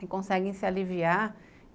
que conseguem se aliviar.